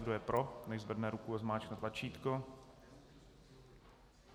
Kdo je pro, nechť zvedne ruku a zmáčkne tlačítko.